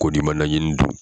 Kɔdi' ma najini dun?